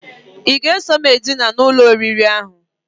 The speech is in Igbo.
I ga-eso m edina n'ụlọ oriri ahụ?